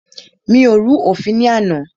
Mi ò rú òfin ní àná.